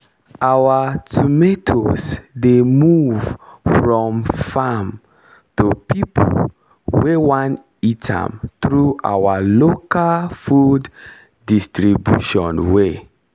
our tomatoes dey move from farm to people wey won eat am through our local food distribution way